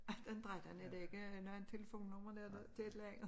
18 13 er det ikke noget telefonnummer eller noget til et eller andet